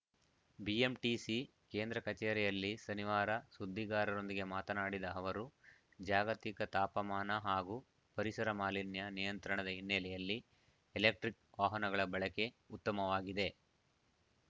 BMTC ಕೇಂದ್ರ ಕಚೇರಿಯಲ್ಲಿ ಶನಿವಾರ ಸುದ್ದಿಗಾರರೊಂದಿಗೆ ಮಾತನಾಡಿದ ಅವರು ಜಾಗತಿಕ ತಾಪಮಾನ ಹಾಗೂ ಪರಿಸರ ಮಾಲಿನ್ಯ ನಿಯಂತ್ರಣದ ಹಿನ್ನೆಲೆಯಲ್ಲಿ ಎಲೆಕ್ಟ್ರಿಕ್‌ ವಾಹನಗಳ ಬಳಕೆ ಉತ್ತಮವಾಗಿದೆ